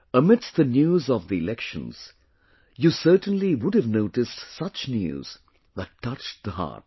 Amidst the news of the elections, you certainly would have noticed such news that touched the heart